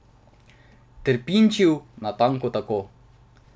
Trpinčil, natanko tako.